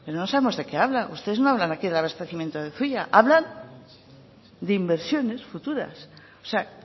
sino no sabemos de qué habla ustedes no hablan aquí del abastecimiento del zuia hablan de inversiones futuras o sea